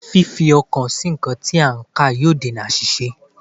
Fífi ọkàn sí nǹkan tí a ń kà yóò dènà àṣìṣe